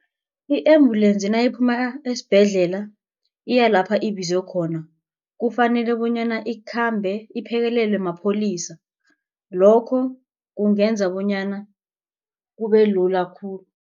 I-embulensi nayiphuma esibhedlela iyalapha ibizwa khona kufanele bonyana ikhambe iphekelelwe mapholisa lokho kungenza bonyana kubelula khulu.